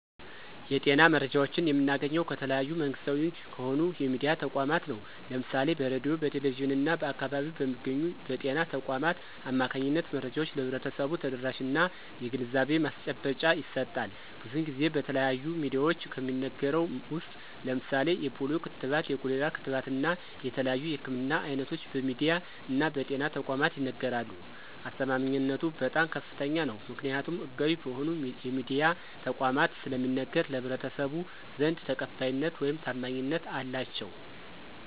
የጤና መረጃዎችን የምናገኘው ከተለያዩ መንግስታዊ ከሆኑ የሚድያ ተቋማት ነው። ለምሳሌ በሬድዮ፣ በቴሌቪዥን እና በአካባቢው በሚገኙ በጤና ተቋማት አማካኝነት መረጃዎች ለህብረተሰቡ ተደራሽነት እና የግንዛቤ ማስጨበጫ ይሰጣል። ብዙን ጊዜ በተለያዩ ሚድያዎች ከሚነገረው ውስጥ ለምሳሌ የፖሊዮ ክትባት፣ የኮሌራ ክትባት እና የተለያዩ የህክምና አይነቶች በሚድያ እና በጤና ተቋማት ይነገራሉ። አስተማማኝነቱ በጣም ከፍተኛ ነው። ምክኒያቱም ህጋዊ በሆኑ የሚድያ ተቋማት ስለሚነገር በህብረተሰቡ ዘንድ ተቀባይነት ውይም ታማኝነት አላቸው።